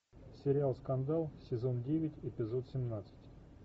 сериал скандал сезон девять эпизод семнадцать